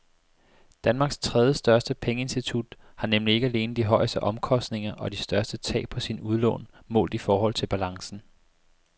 Danmarks tredjestørste pengeinstitut har nemlig ikke alene de højeste omkostninger og de største tab på sine udlån målt i forhold til balancen.